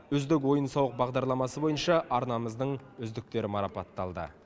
үздік ойын сауық бағдарламасы бойынша арнамыздың үздіктері марапатталды